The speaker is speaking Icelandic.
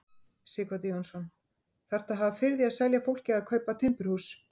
Sighvatur Jónsson: Þarftu að hafa fyrir því að selja fólki að kaupa timburhús?